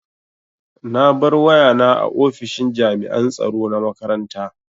Na bar wayana a ofishin jami'an tsaro na makaranta.